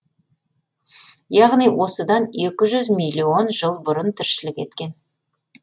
яғни осыдан екі жүз миллион жыл бұрын тіршілік еткен